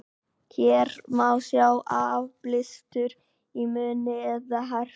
hér má sjá áblástur í munni eða herpes